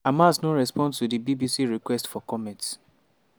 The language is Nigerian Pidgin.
hamas no respond to di bbc request for comment.